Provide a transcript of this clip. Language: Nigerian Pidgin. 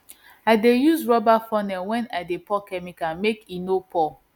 i dey use rubber funnel when i dey pour chemical make e no pour